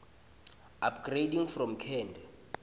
upgrading from cand